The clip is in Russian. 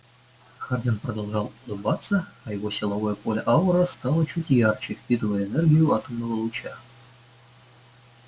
хардин продолжал улыбаться а его силовое поле-аура стало чуть ярче впитывая энергию атомного луча